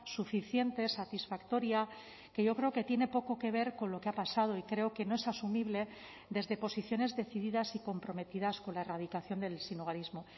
suficiente satisfactoria que yo creo que tiene poco que ver con lo que ha pasado y creo que no es asumible desde posiciones decididas y comprometidas con la erradicación del sinhogarismo